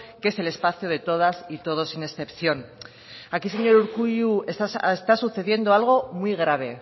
que es el espacio de todas y todos sin excepción aquí señor urkullu está sucediendo algo muy grave